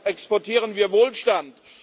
Deshalb exportieren wir Wohlstand.